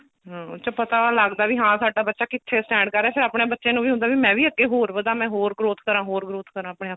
hm ਉਸ ਚ ਪਤਾ ਲੱਗਦਾ ਵੀ ਹਾਂ ਸਾਡਾ ਬੱਚਾ ਕਿੱਥੇ stand ਕਰ ਰਿਹਾ ਫੇਰ ਆਪਣੇ ਬੱਚੇ ਨੂੰ ਵੀ ਹੁੰਦਾ ਮੈਂ ਵੀ ਅੱਗੇ ਹੋਰ ਵਧਾਂ ਮੈਂ ਹੋਰ growth ਕਰਾ ਹੋਰ growth ਕਰਾ ਆਪਣੇ ਆਪ ਚ